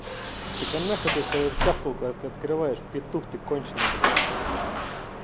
так а нахуй ты свою тявкалку от открываешь петух ты конченный блять